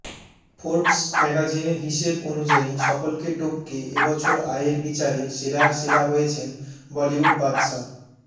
Forbes ম্যাগাজিনের হিসাব অনুযায়ী সকলকে টপকে এবছর আয়ের বিচারে সেরার সেরা হয়েছেন বলিউড বাদশা